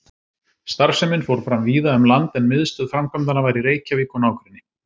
Starfsemin fór fram víða um land, en miðstöð framkvæmdanna var í Reykjavík og nágrenni.